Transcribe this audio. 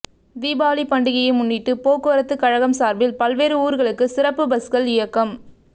தீபாவளி பண்டிகையை முன்னிட்டு போக்குவரத்து கழகம் சார்பில் பல்வேறு ஊர்களுக்கு சிறப்பு பஸ்கள் இயக்கம்